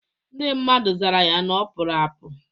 Ndị mmadụ zara ya na ọpụrụ apụ